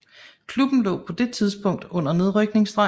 Klubben lå på det tidspunkt under nedrykningsstregen